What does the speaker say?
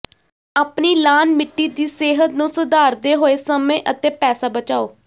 ਆਪਣੀ ਲਾਅਨ ਮਿੱਟੀ ਦੀ ਸਿਹਤ ਨੂੰ ਸੁਧਾਰਦੇ ਹੋਏ ਸਮੇਂ ਅਤੇ ਪੈਸਾ ਬਚਾਓ